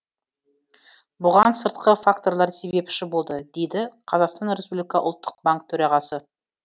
бұған сыртқы факторлар себепші болды дейді қазақстан республика ұлттық банк төрағасы